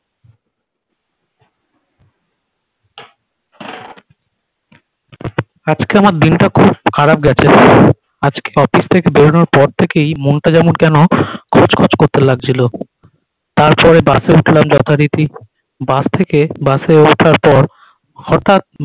আজকে আমার দিনটা খুব খারাপ গেছে আজকে office থেকে বেরোনোর পর থেকেই মন টা যেমন কেন খচখচ করতে লাগছিল তার পরে বাস এ উঠলাম যথারীতি বাস থেকে বাস এ ওঠার পর হঠাৎ